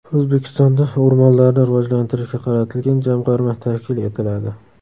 O‘zbekistonda o‘rmonlarni rivojlantirishga qaratilgan jamg‘arma tashkil etiladi.